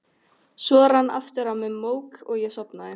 Svo rann aftur á mig mók og ég sofnaði.